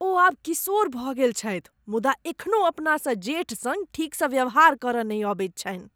ओ आब किशोर भऽ गेल छथि मुदा एखनहु अपनासँ जेठ सङ्ग ठीकसँ व्यवहार करय नहि अबैत छनि।